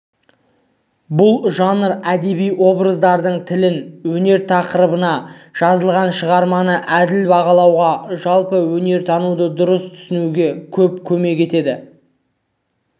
бұл жанр әдеби образдардың тілін өнер тақырыбына жазылған шығарманы әділ бағалауға жалпы өнертануды дұрыс түсінуге көп көмек етеді